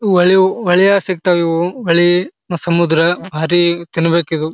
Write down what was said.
ಒಳ್ಳೆಯವು ಹೊಳೆ ಯಾ ಸಿಗ್ತವು ಇವು ಹೊಳೆ ಮತ್ತು ಸಮುದ್ರ ಭಾರಿ ತಿನ್ಬೇಕು ಇದು.